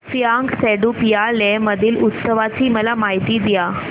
फ्यांग सेडुप या लेह मधील उत्सवाची मला माहिती द्या